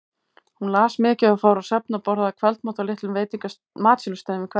Hún las mikið og fór á söfn og borðaði kvöldmat á litlum matsölustöðum í hverfinu.